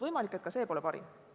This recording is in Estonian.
Võimalik, et see ei ole parim.